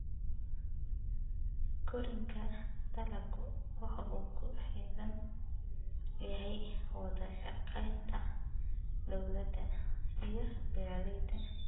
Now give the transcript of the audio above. Koriinka dalaggu waxa uu ku xidhan yahay wada shaqaynta dawladda iyo beeralayda.